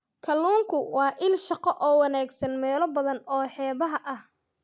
Kalluunku waa il shaqo oo wanaagsan meelo badan oo xeebaha ah.